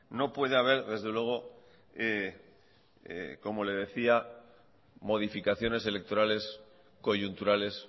no puede haber desde luego como le decía modificaciones electorales coyunturales